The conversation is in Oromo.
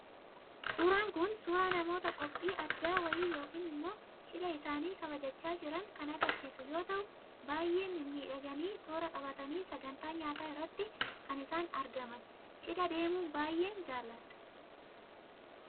Suuraan kun, suuraa namoota qophii addaa wayii yookaan immoo cidha isaanii kabajachaa jiranii kan agarsiisu yoo ta'u, baayyee mimmiidhaganii, toora qabatanii , sagantaa nyaata irratti kan isaan argaman. Cidha deemuu baayyeen jaaladha.